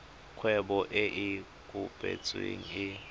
kgwebo e e kopetsweng e